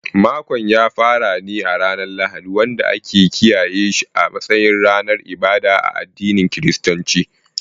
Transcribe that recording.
Makon yana farawa ne a ranar Lahadi, wanda ake kiyaye shi a matsayin ranar ibada a addinin Kiristanci.